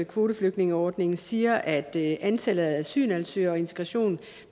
kvoteflygtningeordningen siger at antallet af asylansøgere og integration